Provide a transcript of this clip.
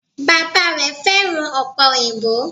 Bàbá rè féràn òpè òyìnbó